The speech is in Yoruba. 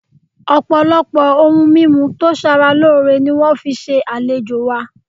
Ọpọlọpọ oun mimu to sara loore ni wọn fi ṣe alejo wa